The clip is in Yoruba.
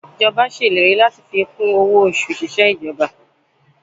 Ìjọba ṣèlérí láti fi kún owó oṣù òṣìṣẹ́ ìjọba